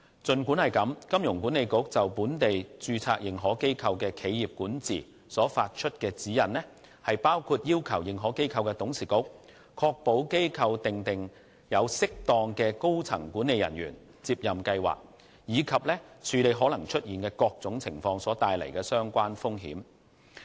儘管如此，金管局就本地註冊認可機構的企業管治所發出的指引，包括要求認可機構的董事局確保機構訂定有適當的高層管理人員接任計劃，以及處理可能出現的各種情況所帶來的相關風險。